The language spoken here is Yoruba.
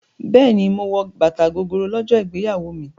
Bẹ́ẹ̀ni, mo wọ bàtà Gogoro lọ́jọ́ ìgbéyàwó mi.